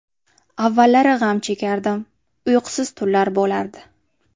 Avvallari g‘am chekardim, uyqusiz tunlar bo‘lardi.